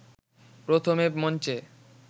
প্রথমে মঞ্চে